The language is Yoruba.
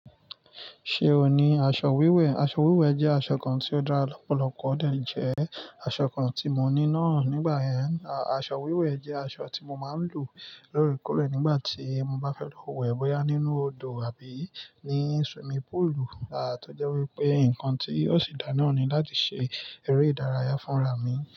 Ṣé o ní aṣọ wíwẹ̀? Aṣọ wíwẹ̀ jẹ́ aṣọ kan tí ó dára lọ́pọ̀lọpọ̀ ó dà jẹ aṣọ kan tí mo ní náà nígbà yẹn. Aṣọ wíwẹ̀ jẹ́ aṣọ tí mo máa ń lò lórí kúrẹ̀ nígbà tí mo bá fẹ́ lọ wẹ̀ bpyá nínú odò àbí ní swimming pool, à tọ́jẹ́ wípé nnkan tí ó sì dá na ni láti ṣe eré ìdárayá fúnra mi.